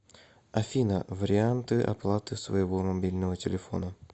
афина варианты оплаты своего мобильного телефона